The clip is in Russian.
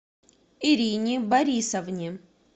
ирине борисовне